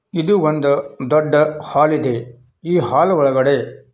ಇದು ಒಂದು ದೊಡ್ಡ ಹಾಲ್ ಇದೆ ಈ ಹಾಲ್ ಒಳಗಡೆ --